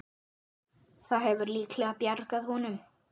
Það hefur líklega bjargað honum.